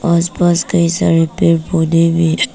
आस पास कई सारे पेड़ पौधे भी--